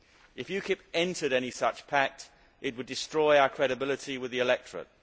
If UKIP entered any such pact, it would destroy our credibility with the electorate.